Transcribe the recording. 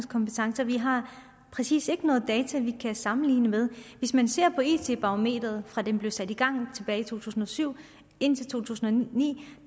kompetencer vi har præcis ikke nogen data vi kan sammenligne med hvis man ser på it barometeret fra det blev sat i gang tilbage i to tusind og syv og indtil to tusind og ni